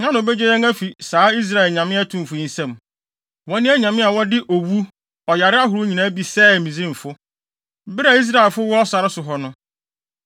Hena na obegye yɛn afi saa Israel anyame atumfo yi nsam? Wɔne anyame a wɔde owu ɔyare ahorow nyinaa bi sɛee Misraimfo, bere a Israelfo wɔ sare so hɔ no.